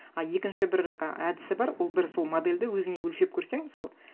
а екінші бір әдісі бар ол бір сол модельді өзіне өлшеп көрсең мысалы